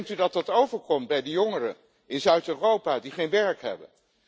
Hoe denkt u dat dat overkomt bij de jongeren in Zuid Europa die geen werk hebben?